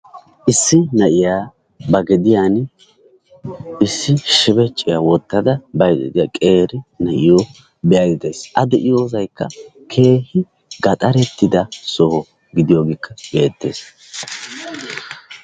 Issi na'iyaa ba gediyaan issi shebecciyaa wottada bayda diyaa qeeri na'iyoo be'aydda days. A de'iyoosaykka keehi gaxarettida sooho gidiyoogekka beettees.